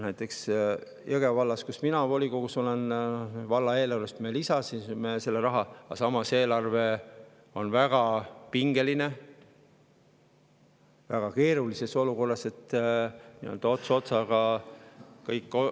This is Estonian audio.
Näiteks Jõgeva vallas, kus mina volikogus olen, valla eelarvest me selle raha, aga samas on eelarve väga pingelises, väga keerulises olukorras, ots otsaga kokku tulla.